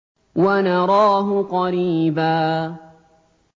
وَنَرَاهُ قَرِيبًا